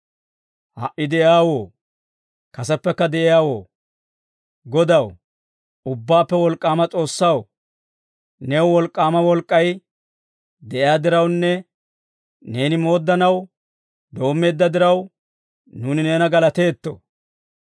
«Ha"i de'iyaawoo, kaseppekka de'iyaawoo, Godaw, Ubbaappe Wolk'k'aama S'oossaw, new wolk'k'aama wolk'k'ay de'iyaa dirawunne, neeni mooddanaw doommeedda diraw, nuuni neena galateetto.